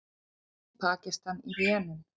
Flóðin í Pakistan í rénun